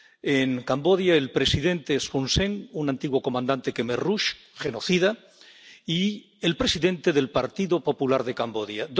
En Camboya el presidente Hun Sen, un antiguo comandante jemer rojo, genocida, y el presidente del Partido Popular de Camboya.